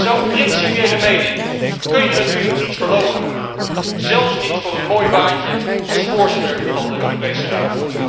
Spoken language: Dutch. Zo'n principiële mening kun je natuurlijk niet verloochenen, zelfs niet voor een mooi baantje als voorzitter van de Europese Raad.